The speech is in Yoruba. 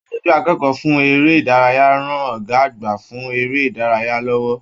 Aṣojú akẹ́kọ̀ọ́ fún eré ìdárayá rán Ọgá àgbà fún eré ìdárayá lọwọ.